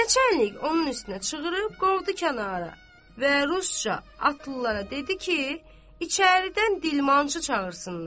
Neçə əlik onun üstünə çığırıb qovdu kənara və rusca atlılara dedi ki, içəridən dilmancçı çağırsınlar.